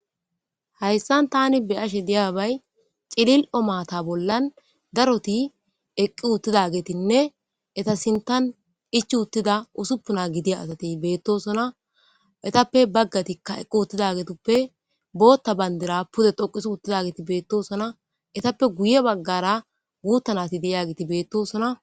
Hayssan tani beyashe diyabay cililo mata bollan daroti eqqi uttidagetinne eta sinttan ichc uttida usuppuna gidida asati beettosona etappe baggatikka eqqi uttidagetuppe bootta banddira pude dhoqis uttidageti beettosona. etappe guye baggara guutta nati de'iyagiti beettosona.